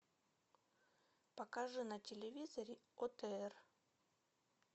покажи на телевизоре отр